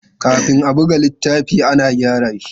Kafin a buga littafi, ana gyara shi.